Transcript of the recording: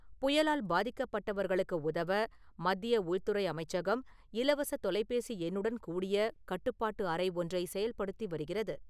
புயலால் பாதிக்கப்பட்டவர்களுக்கு உதவ மத்திய உள்துறை அமைச்சகம் இலவசத் தொலைபேசி எண்ணுடன் கூடிய கட்டப்பாட்டு அறை ஒன்றை செயல்படுத்தி வருகிறது.